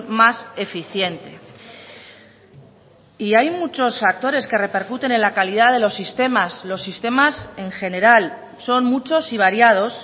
más eficiente y hay muchos factores que repercuten en la calidad de los sistemas los sistemas en general son muchos y variados